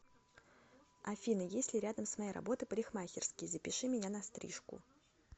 афина есть ли рядом с моей работой парикмахерские запиши меня на стрижку